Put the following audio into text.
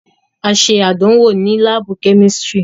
A ṣe àdánwò ni laabu kemistri